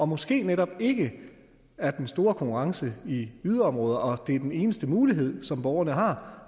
måske netop ikke er den store konkurrence i yderområderne og det er den eneste mulighed som borgerne har